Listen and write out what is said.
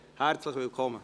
Herzlich willkommen!